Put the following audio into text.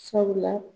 Sabula